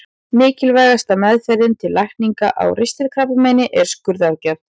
Mikilvægasta meðferðin til lækningar á ristilkrabbameini er skurðaðgerð.